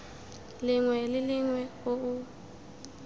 lengwe le lengwe o o